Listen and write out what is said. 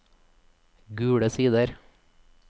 Gule Sider